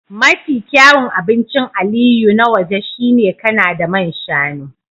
Mafi kyawun abincin Aliyu na waje shine Kanada man shanu